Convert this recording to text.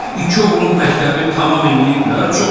İki oğlun məktəbi tamam eləyiblər, çox gözəl.